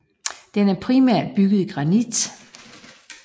Den er primært bygget i granit